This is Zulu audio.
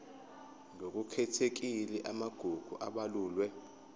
ngokukhethekile amagugu abalulwe